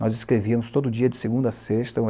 Nós escrevíamos todo dia, de segunda a sexta.